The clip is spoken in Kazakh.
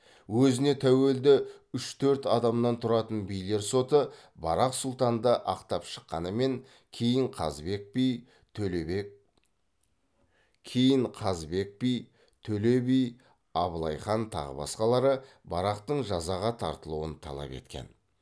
өзіне тәуелді үш төрт адамнан тұратын билер соты барақ сұлтанды ақтап шыққанымен кейін қазыбек би төле би абылай хан тағы басқа барақтың жазаға тартылуын талап еткен